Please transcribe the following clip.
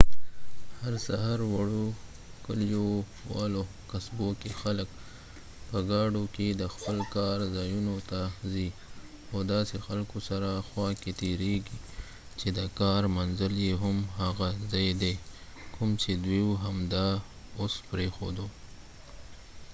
هر سهار وړو کلیوالو قصبو کې خلک په ګاډو کې د خپل کار ځایونو ته ځي او داسې خلکو سره خوا کې تېریږي چې د کار منزل يې هم هغه ځای دی کوم چې دوی همدا اوس پرېښود